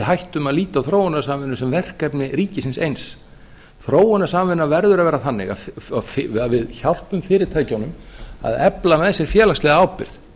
hættum að líta á þróunarsamvinnu sem verkefni ríkisins eins þróunarsamvinna verður að vera þannig að við hjálpum fyrirtækjunum að efla með sér félagslega ábyrgð